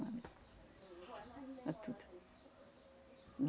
É tudo.